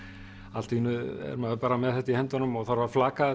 allt í einu er maður með þetta í höndunum og þarf að flaka